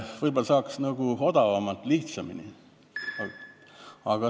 Võib-olla saaks odavalt ja lihtsamini.